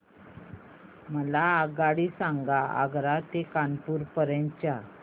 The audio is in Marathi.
मला आगगाडी सांगा आग्रा ते कानपुर पर्यंत च्या